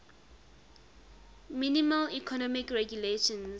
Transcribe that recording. minimal economic regulations